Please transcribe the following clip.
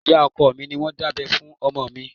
Ìyá ọkọ mi ni wọ́n dábẹ́ fún ọmọ mi